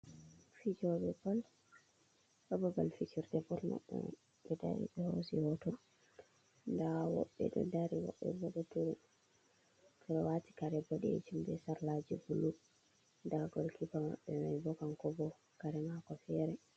Fijoɓe ball ha babal fijirde ball man, nda ɓeɗo dari ɓe hosi ɓe hoto nda woɓɓe ɗow dari woɓɓe ɗou turi. Ɓeɗo wati kare boɗejum be sarlaji blue nda gol keeper maɓɓe mai bo kanko bo kare mako fere.